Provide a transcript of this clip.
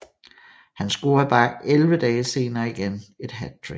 Han scorede bare 11 dage senere igen et hattrick